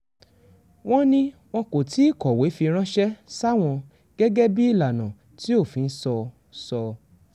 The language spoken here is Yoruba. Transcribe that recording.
wọ́n ní wọn kò tí ì kọ̀wé fi ránṣẹ́ sáwọn gẹ́gẹ́ bíi ìlànà tí òfin sọ sọ